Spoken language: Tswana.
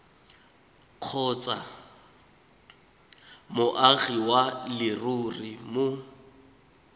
kgotsa moagi wa leruri mo